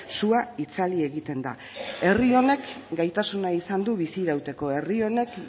sua itzali egiten da herri honek gaitasuna izan du bizi irauteko herri honek